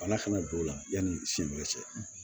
Bana kana don o la yanni senɲɛ cɛ